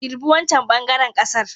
Girbi wancan ɓangaren ƙasar.